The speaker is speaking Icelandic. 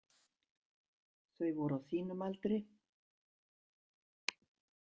Þau voru á þínum aldri.